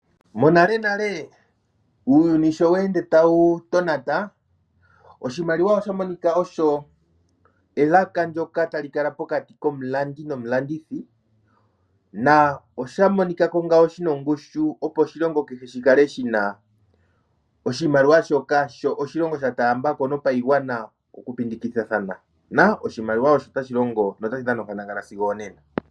Monalenale uuyuni sho tawu ende tawu tonata oshimaliwa osha monika osho elaka ndjoka tali kala pokati komulandi nomulandithi na oshamonikako ngawo shina ongushu opo oshilongo kehe shukale shina oshimaliwa shoka sho oshilongo sha taambako no payigwana okupingakanitha na oshimaliwa osho tashilongo na osho tashi dhana onkandangala sigo onena.